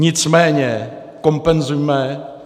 Nicméně kompenzujme.